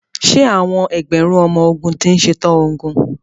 Ṣé àwọn ẹgbẹ̀rún ọmọ ogun ti ṣe tán ogun?